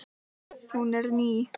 Hún er ný.